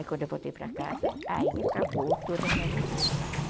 Aí quando eu voltei para casa, aí acabou toda a minha resistência, né.